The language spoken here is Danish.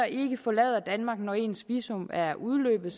ikke forlader danmark når ens visum er udløbet